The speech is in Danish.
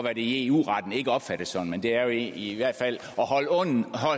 at det i eu retten ikke opfattes sådan men det er i hvert fald